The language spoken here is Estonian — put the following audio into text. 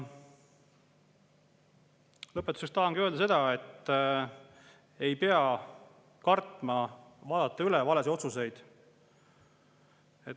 Lõpetuseks tahangi öelda, et ei pea kartma vaadata üle valesid otsuseid.